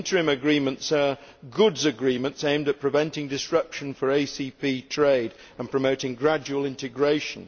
Interim Agreements are goods agreements aimed at preventing disruption of ACP trade and promoting gradual integration.